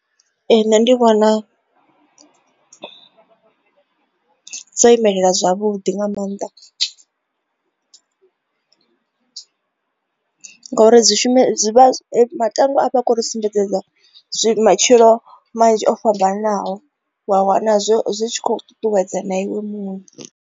Ee, nṋe ndi vhona dzo imelela zwavhuḓi nga maanḓa ngauri dzi shume matangwa a vha khou ri sumbedza matshilo manzhi o fhambananaho wa wana zwo zwi tshi kho ṱuṱuwedza na iwe muṋe.